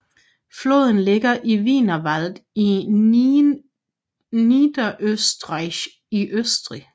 Floden ligger i Wienerwald i Niederösterreich i Østrig